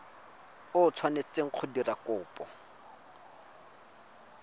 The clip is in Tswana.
o tshwanetseng go dira kopo